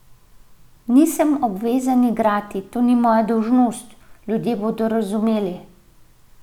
Nisem obvezan igrati, to ni moja dolžnost, ljudje bodo razumeli.